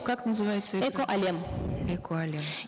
как называется игра эко әлем эко әлем